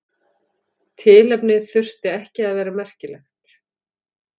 Tilefnið þurfti ekki að vera merkilegt.